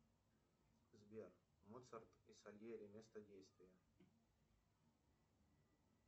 сбер моцарт и сальери место действия